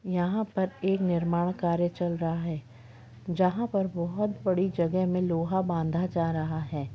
यहाँ पर एक निर्माण कार्य चल रहा है जहा पर बहुत बड़ी जगह में लोहा बांधा जा रहा है।